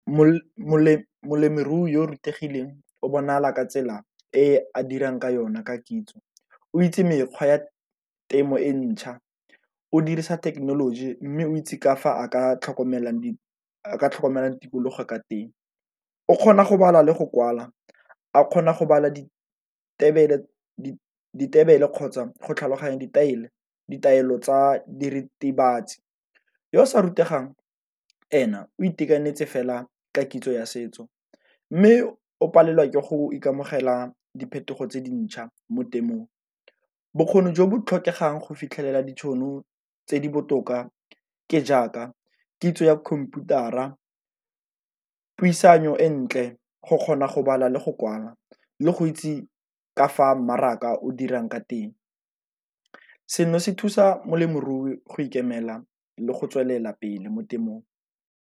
Molemirui yo rutegileng o bonala ka tsela e a dirang ka yona ka kitso, o itse mekgwa ya temo e ntšha o dirisa thekenoloji mme o itse ka fa a ka tlhokomelang ka tlhokomelang tikologo ka teng, o kgona go bala le go kwala a kgona go bala kgotsa go tlhaloganya ditaelo tsa diritibatsi. Yo sa rutegang ene o itekanetse fela ka kitso ya setso, mme o palelwa ke go ikamogela diphetogo tse dintšha mo temothung. Bokgoni jo bo tlhokegang go fitlhelela ditšhono tse di botoka ke jaaka kitso ya computer-a, puisano e ntle, go kgona go bala le go kwala le go itse ka fa mmaraka o dirang ka teng. Seno se thusa molemirui go ikemela le go tswelela pele mo temong.